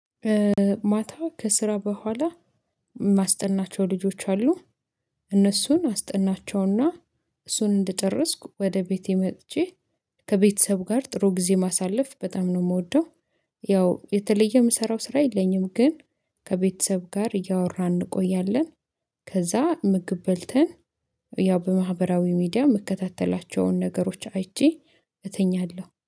ማታ ከስራ በኋላ የማስጠናቸው ልጆች አሉ። እነሱን አስጠናቸውና እሱን እንደጨረስኩ ወደ ቤቴ መጥቼ ከቤተሰቡ ጋር ጥሩ ጊዜ ማሳለፍ በጣም ነው የምወደው። ያው የተለየ የምሰራው ስራ የለኝም ግን ከቤተሰብ ጋር እያወራን እንቆያለን። ከዛ ምግብ በልተን ያው በማህበራዊ ሚዲያ የምከታተላቸውን ነገሮች አይቼ እተኛለሁ